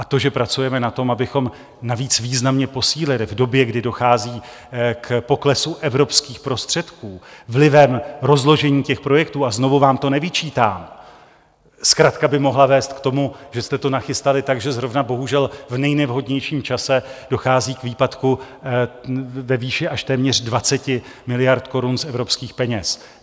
A to, že pracujeme na tom, abychom navíc významně posílili v době, kdy dochází k poklesu evropských prostředků vlivem rozložení těch projektů, a znovu vám to nevyčítám, zkratka by mohla vést k tomu, že jste to nachystali tak, takže zrovna bohužel v nejnevhodnějším čase dochází k výpadku ve výši až téměř 20 miliard korun z evropských peněz.